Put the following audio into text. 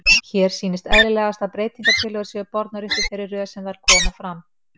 Hér sýnist eðlilegast að breytingatillögur séu bornar upp í þeirri röð sem þær koma fram.